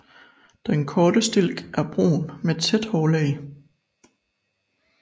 Den korte stilk er brun med tæt hårlag